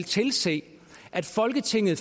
tilse at folketinget